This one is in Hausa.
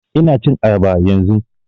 Ina cin ayaba yanzun